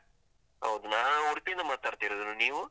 ಹೌದು, ನಾನು ಉಡುಪಿಯಿಂದ ಮಾತಾಡ್ತಿರುದು, ನೀವು?